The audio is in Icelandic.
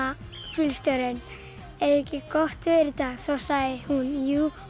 bílstjórinn er ekki gott veður í dag þá sagði hún jú